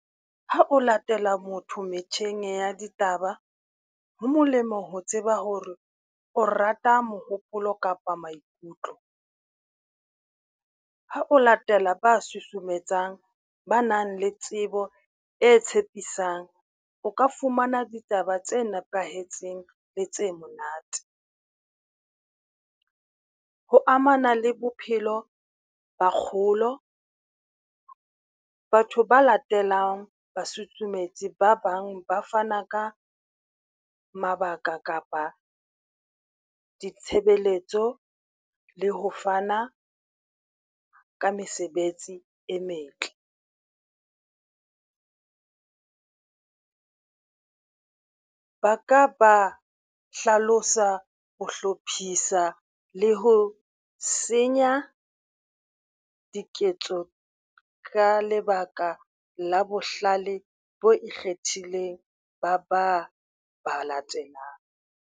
Ha o latela motho metjheng ya ditaba, ho molemo ho tseba hore o rata mohopolo kapa maikutlo. Ha o latela ba susumetsang, ba nang le tsebo e tshepisang o ka fumana ditaba tse nepahetseng le tse monate. Ho amana le bophelo ba kgolo, batho ba latelang ba sutsumetsi ba bang ba fana ka mabaka kapa ditshebeletso le ho fana ka mesebetsi e metle. Ba ka ba hlalosa ho hlophisa le ho senya diketso ka lebaka la bohlale bo ikgethileng, ba ba latelang.